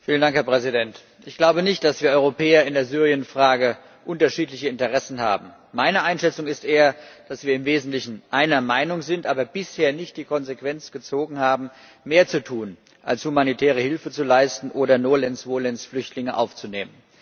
Herr Präsident! Ich glaube nicht, dass wir Europäer in der Syrienfrage unterschiedliche Interessen haben. Meine Einschätzung ist eher, dass wir im Wesentlichen einer Meinung sind, aber bisher nicht die Konsequenz gezogen haben, mehr zu tun, als humanitäre Hilfe zu leisten oder nolens volens Flüchtlinge aufzunehmen.